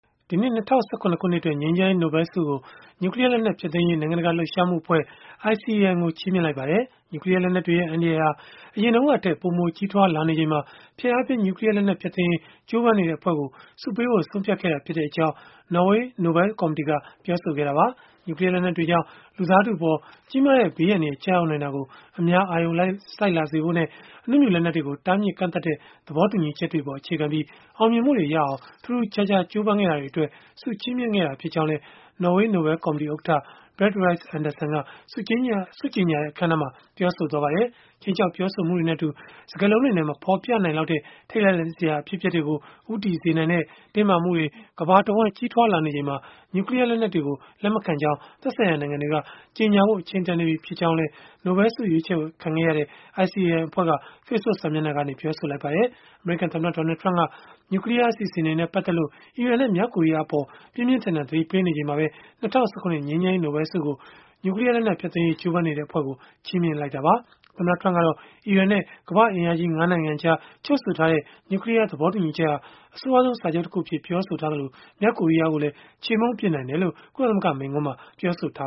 ဒီနှစ် ၂၀၁၇ ခုနှစ်အတွက် ငြိမ်းချမ်းရေး နိုဘဲလ်ဆုကို နျူကလီးယားလက်နက် ဖျက်သိမ်းရေး နိုင်ငံတကာ လှုပ်ရှားမှုအဖွဲ့ (ICAN) ကို ချီးမြှင့်လိုက်ပါတယ်။ နျူကလီးယားလက်နက်တွေရဲ့ အန္တရာယ်ဟာ အရင်တုန်းကထက် ပိုမိုကြီးထွား လာနေချိန်မှာ ဖျက်အားပြင်း နျူကလီးယား လက်နက် ဖျက်သိမ်းရေး ကြိုးပမ်းနေတဲ့ အဖွဲ့ကို ဆုပေးဖို့ ဆုံးဖြတ်ခဲ့တာဖြစ်ကြောင်း နော်ေ၀ နိုဘဲလ်ကော်မတီက ပြောဆိုခဲ့တာပါ။ နျူကလီးယား လက်နက်တွေကြောင့် လူသားထုအပေါ် ကြီးမားတဲ့ ဘေးအန္တရာယ် ကျရောက်နိုင်တာကို အများအာရုံစိုက်လာစေဖို့နဲ့ အနုမြူလက်နက်တွေကို တားမြစ်ကန့်သတ်ထားတဲ့ သဘောတူညီချက်တွေအပေါ် အခြေခံပြီး အောင်မြင်မှုတွေ ရအောင် ထူးထူးခြားခြား ကြိုးပမ်းခဲ့တာတွေအတွက် ဆုချီးမြှင့်ခဲ့တာဖြစ်ကြောင်းလည်း နော်ေ၀ နိုဘဲလ်ကော်မတီ ဥက္ကဋ္ဌ Berit Reiss Andersen က ဆုကြေညာတဲ့ အခန်းအနားမှာ ပြောဆိုသွားပါတယ်။ ခြိမ်းခြောက် ပြောဆိုမှုတွေနဲ့အတူ စကားလုံးတွေနဲ့ မဖော်ပြနိုင်လောက်တဲ့ ထိတ်လန့်စရာ အဖြစ်အပျက်တွေကို ဦးတည်စေနိုင်တဲ့ တင်းမာမှုတွေ ကမ္ဘာတဝှမ်း ကြီးထွားနေချိန်မှာ နျူကလီးယား လက်နက်တွေကို လက်မခံကြောင်း သက်ဆိုင်ရာ နိုင်ငံတွေက ကြေညာဖို့ အချိန်တန်နေပြီဖြစ်ကြောင်း ဆုပေးဖို့ ရွေးချယ်ခံခဲ့ရတဲ့ ICAN အဖဲ့ွကလည်း Facebook စာမျက်နှာကနေ ပြောဆိုလိုက်ပါတယ်။ အမေရိကန်သမ္မတ Donald Trump က နျူကလီးယား အစီအစဉ်တွေနဲ့ ပတ်သက်လို့ အီရန်နဲ့ မြောက်ကိုရီးယားအပေါ် ပြင်းပြင်းထန်ထန် သတိပေးပြောဆိုနေချိန်မှာပဲ ၂၀၁၇ ငြိမ်းချမ်းရေးနိုဘဲလ်ဆုကို နျူကလီးယား လက်နက်ဖျက်သိမ်းရေး ကြိုးပမ်းနေတဲ့ အဖွဲ့ကို ချီးမြှင့်ခဲ့တာပါ။ သမ္မတ Trump ကတော့ အီရန်နဲ့ ကမ္ဘာ့အင်အားကြီး ၅ နိုင်ငံကြား ချုပ်ဆိုထားတဲ့ နျူကလီးယားသဘောတူညီချက်ဟာ အဆိုးရွားဆုံးစာချုပ်အဖြစ် ပြောဆိုထားသလို၊ မြောက်ကိုရီးယားကိုလည်း ချေမှုန်းပစ်နိုင်တယ်လို့ ကုလသမဂ္ဂ မိန့်ခွန်းမှာ ပြောဆိုထာ